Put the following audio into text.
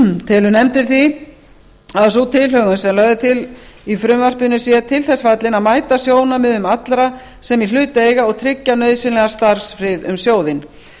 telur nefndin því að sú tilhögun sem lögð er til í frumvarpinu sé til þess fallin að mæta sjónarmiðum allra sem í hlut eiga og tryggja nauðsynlegan starfsfrið um sjóðinn